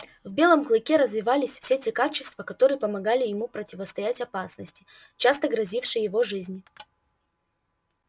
в белом клыке развивались все те качества которые помогали ему противостоять опасности часто грозившей его жизни